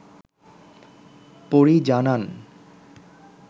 পরী জানান